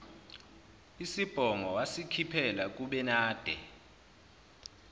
isibhongo wasikhiphela kubenade